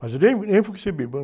Mas eu nem, nem fui receber.